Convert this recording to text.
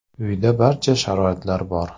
Uyda barcha sharoitlar bor.